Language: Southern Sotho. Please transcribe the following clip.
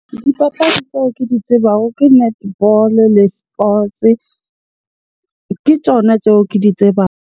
Dipapadi tseo ke di tsebago ke netball-o le sports. Ke tjona tseo ke di tsebang.